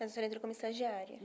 Mas a senhora entrou como estagiária.